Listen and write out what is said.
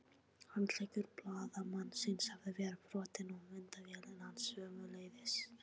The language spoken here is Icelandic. Handleggur blaðamannsins hafði verið brotinn og myndavélin hans sömuleiðis.